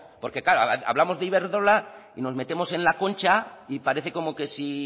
porque claro hablamos de iberdrola y nos metemos en la concha y parece como que si